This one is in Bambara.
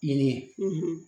Ɲini